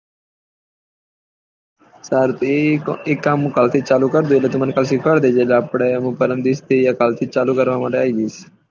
સારું તો એ કામ કાલ થી ચાલુ કરી દે તું મને સીખ્વાડ દેજે તો આપળે એનું પરમ દિવસ કે કાલ થી ચાલુ કરવા માટે આયી જયીશ